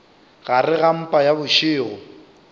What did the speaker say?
gare ga mpa ya bošego